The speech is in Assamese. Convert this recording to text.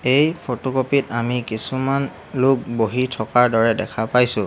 এই ফটোকপি ট আমি কিছুমান লোক বহি থকাৰ দৰে দেখা পাইছোঁ।